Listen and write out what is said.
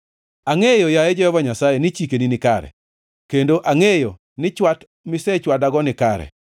Angʼeyo, yaye Jehova Nyasaye, ni chikeni nikare, kendo angʼeyo ni chwat misechwadago nikare.